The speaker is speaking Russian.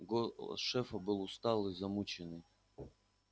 голос шефа был усталый замученный